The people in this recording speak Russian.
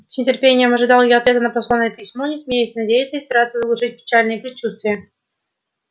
с нетерпением ожидал я ответа на посланное письмо не смея надеяться и стараясь заглушить печальные предчувствия